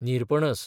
निरपणस